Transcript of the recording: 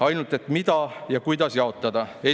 Ainult, et mida ja kuidas jaotada?